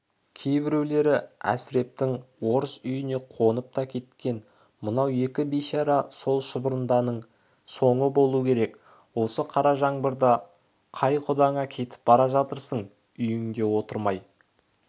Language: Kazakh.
кейбіреулері әсірептің орыс үйіне қонып та кеткен мынау екі бейшара сол шұбырындының соңы болу керек осы қара жаңбырда қай құдаңа кетіп бара жатырсың үйіңде отырмай құда